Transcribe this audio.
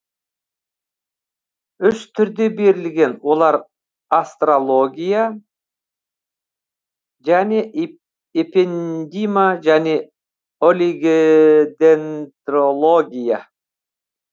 үш түрде берілген олар астрология және эпендима және олигедендрология